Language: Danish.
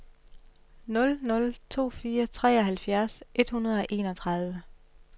nul nul to fire treoghalvfjerds et hundrede og enogtredive